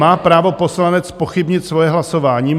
Má právo poslanec zpochybnit svoje hlasování?